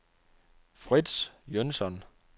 Frits Jønsson